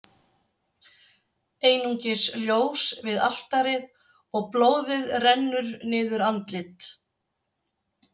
Einungis ljós við altarið, og blóðið rennur niður andlit